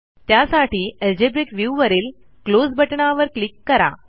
त्यासाठी algebraic view वरील close बटणावर क्लिक करा